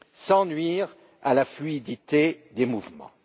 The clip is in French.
sans nuire à la fluidité des mouvements.